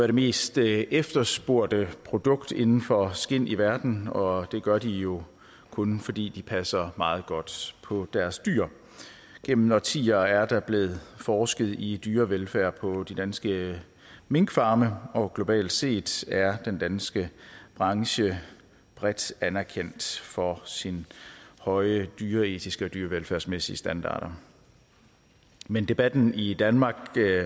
de mest efterspurgte produkter inden for skind i verden og det gør de jo kun fordi de passer meget godt på deres dyr gennem årtier er der blevet forsket i dyrevelfærd på de danske minkfarme og globalt set er den danske branche bredt anerkendt for sine høje dyreetiske og dyrevelfærdsmæssige standarder men debatten i danmark